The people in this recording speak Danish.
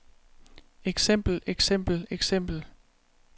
eksempel eksempel eksempel